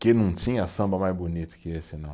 Que não tinha samba mais bonito que esse, não.